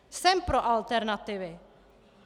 Jsem pro alternativy.